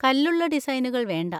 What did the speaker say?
കല്ലുള്ള ഡിസൈനുകൾ വേണ്ട.